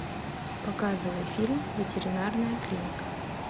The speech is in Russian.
показывай фильм ветеринарная клиника